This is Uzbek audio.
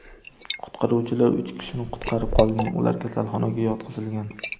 Qutqaruvchilar uch kishini qutqarib qolgan, ular kasalxonaga yotqizilgan.